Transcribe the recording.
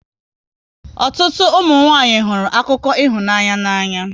Ụtụtụ ụmụnwanyị hụrụ akụkọ ịhụnanya n'anya